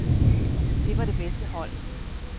Det var det bedste hold.